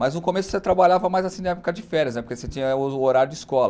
Mas no começo você trabalhava mais assim na época de férias, não é porque você tinha o horário de escola.